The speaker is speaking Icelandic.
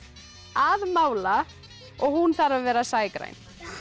að mála og hún þarf að vera